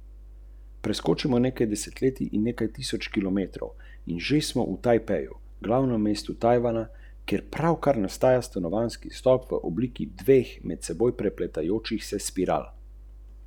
Da bi bil izkoristek festivala kar najboljši, smo se obrnili na ljudi, za katere je gledanje filmov poklic ...